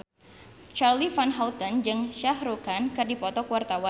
Charly Van Houten jeung Shah Rukh Khan keur dipoto ku wartawan